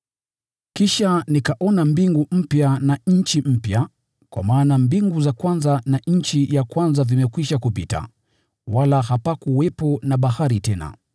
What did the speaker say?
Kisha nikaona mbingu mpya na nchi mpya, kwa maana mbingu za kwanza na nchi ya kwanza vimekwisha kupita, wala hapakuwepo na bahari tena.